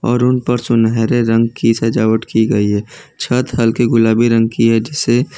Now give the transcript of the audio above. और उन पर सुनहरे रंग की सजावट की गई है छत हल्के गुलाबी रंग की है जिसे--